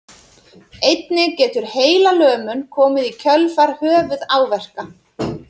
Einnig getur heilalömun komið í kjölfar höfuðáverka.